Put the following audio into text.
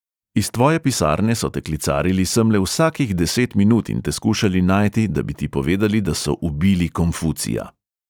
"Iz tvoje pisarne so te klicarili semle vsakih deset minut in te skušali najti, da bi ti povedali, da so ubili konfucija."